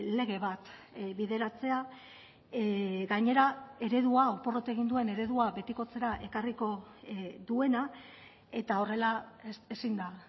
lege bat bideratzea gainera eredua porrot egin duen eredua betikotzera ekarriko duena eta horrela ezin da